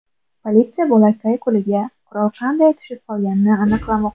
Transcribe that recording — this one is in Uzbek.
Politsiya bolakay qo‘liga qurol qanday tushib qolganini aniqlamoqda.